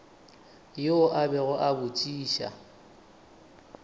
yoo a bego a botšiša